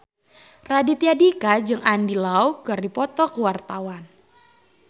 Raditya Dika jeung Andy Lau keur dipoto ku wartawan